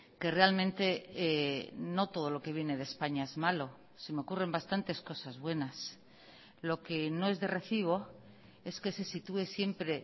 que realmente no todo lo que viene de españa es malo se me ocurren bastantes cosas buenas lo que no es de recibo es que se sitúe siempre